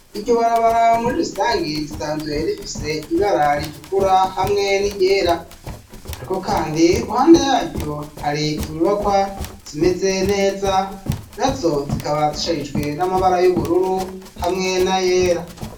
Iryo barabara, muri rusangi, risanzwe rifise ibara ritukura, hamwe n'iryera; ariko kandi, iruhande yaryo, hari inyubakwa zimeze neza, nazo zikaba zisharijwe, n'amabara y'ubururu, hamwe n'ayera.